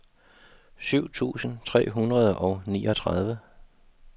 syv tusind tre hundrede og niogtredive